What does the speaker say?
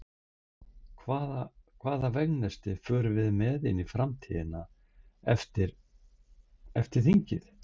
Hvað, hvaða veganesti förum við með inn í framtíðina eftir, eftir þingið?